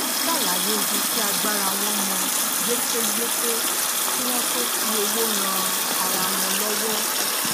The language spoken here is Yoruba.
wón salaye ibi ti agbara won mo yekeyeke ki won to fi owo ran ara won lowo